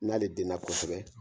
N'ale den na kosɛbɛ.